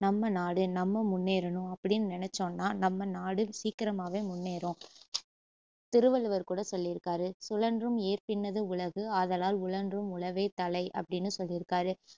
நம்ம நாடு நம்ம முன்னேறணும் அப்படின்னு நினச்சோன்னா நம்ம நாடு சீக்கிரமாவே முன்னேறும் திருவள்ளுவர் கூட சொல்லியிருக்காரு சுழன்றும் ஏர்பின்னது உலகு ஆதலால் உளன்றும் உழவே தலை அப்படின்னு சொல்லிருக்காரு